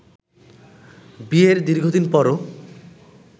বিয়ের দীর্ঘদিন পরও